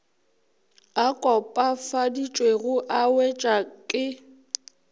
a kopafaditšwego a wetšwa ka